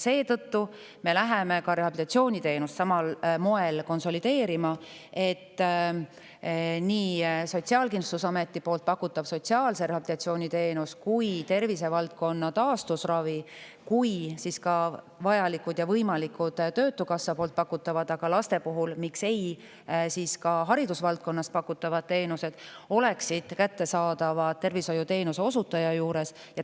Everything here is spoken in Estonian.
Seetõttu me läheme ka rehabilitatsiooniteenust samal moel konsolideerima, et nii Sotsiaalkindlustusameti pakutav sotsiaalse rehabilitatsiooni teenus, tervisevaldkonna taastusravi kui ka vajalikud ja võimalikud töötukassa pakutavad ning laste puhul, miks mitte, ka haridusvaldkonnas pakutavad teenused oleksid kättesaadavad tervishoiuteenuse osutaja juures.